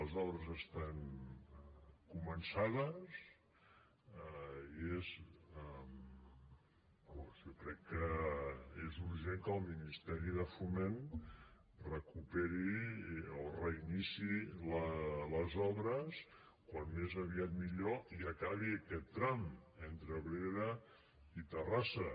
les obres estan començades i jo crec que és urgent que el ministeri de foment recuperi o reiniciï les obres com més aviat millor i acabi aquest tram entre abrera i terrassa